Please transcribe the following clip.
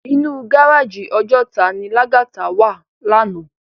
Inú gáráji Òjòtá ni Lagata wá làná